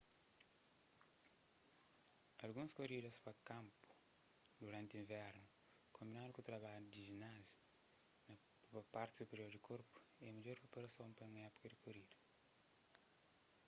alguns koridas pa kanpu duranti invernu konbinadu ku trabalhu di jináziu pa parti superior di korpu é midjor priparason pa un épuka di korida